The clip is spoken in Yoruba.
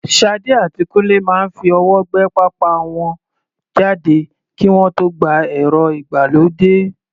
Sade àti Kunle máa ń fi ọwọ́ gbé pápá wọn jáde kí wọ́n tó gba ẹ̀rọ ìgbàlódé.